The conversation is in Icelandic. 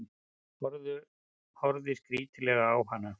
Horfði skrítilega á hana.